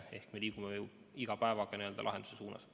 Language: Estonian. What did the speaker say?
Nii et me liigume iga päevaga lahenduse suunas.